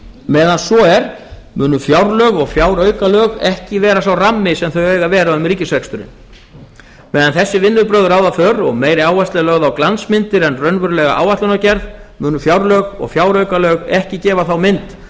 meðan svo er munu fjárlög og fjáraukalög ekki vera sá rammi sem þau eiga að vera um ríkisreksturinn meðan þessi vinnubrögð ráða för og meiri áhersla er lögð á glansmyndir en raunverulega áætlanagerð munu fjárlög og fjáraukalög ekki gefa þá mynd